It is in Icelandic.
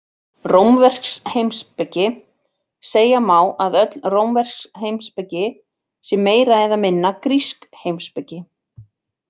Rómversk heimspeki Segja má að öll rómversk heimspeki sé meira eða minna grísk heimspeki.